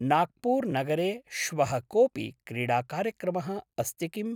नाग्पूर्नगरे श्वः कोपि क्रीडाकार्यक्रमः अस्ति किम्?